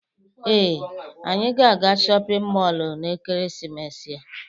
Ee, anyị ga-aga shọpịn mọọlụ n'ekeresimesi a.